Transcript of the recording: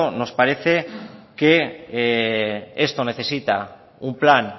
nos parece que esto necesita un plan